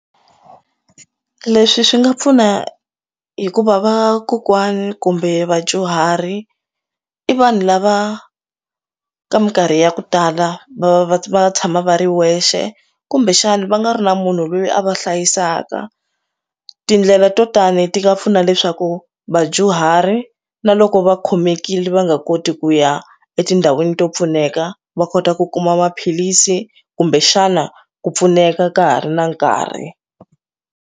Leswi swi nga pfuna hikuva vakokwana kumbe vadyuhari i vanhu lava ka minkarhi ya ku tala va va tshama va ri wexe kumbexana va nga ri na munhu loyi a va hlayisaka tindlela to tani ti nga pfuna leswaku vadyuhari na loko va khomekile va nga koti ku ya etindhawini to pfuneka va kota ku kuma maphilisi kumbe xana ku pfuneka ka ha ri na nkarhi.